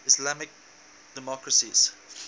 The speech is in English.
islamic democracies